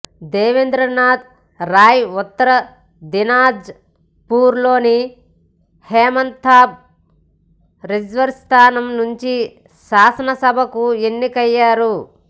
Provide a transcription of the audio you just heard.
Devendranath Roy Uttar Dinajpur లోని Hemtabad reserve స్థానం నుంచి శాసనసభకు ఎన్నికయ్యారు